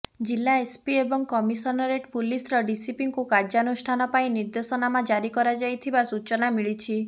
ଜିଲ୍ଲା ଏସ୍ପି ଏବଂ କମିସନରେଟ୍ ପୁଲିସର ଡିସିପିଙ୍କୁ କାର୍ଯ୍ୟାନୁଷ୍ଠାନ ପାଇଁ ନିର୍ଦ୍ଦେଶନାମା ଜାରି କରାଯାଇଥିବା ସୂଚନା ମିଳିଛି